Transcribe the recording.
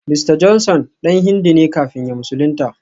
Mista Johnson dan Hindu ne kafin ya musulunta